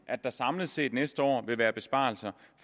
at der samlet set næste år vil være besparelser